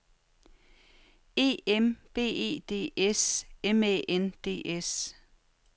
E M B E D S M Æ N D S